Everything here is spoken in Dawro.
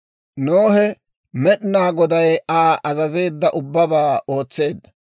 Nohe Med'inaa Goday Aa azazeedda ubbabaa ootseedda.